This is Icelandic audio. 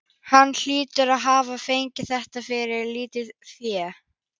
Hann hlýtur að hafa fengið þetta fyrir lítið fé.